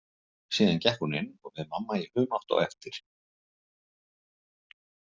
Síðan gekk hún inn og við mamma í humátt á eftir.